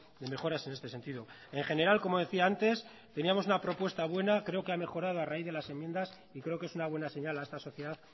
de mejoras en este sentido en general como decía antes teníamos una propuesta buena creo que ha mejorado a raíz de las enmiendas y creo que es una buena señal a esta sociedad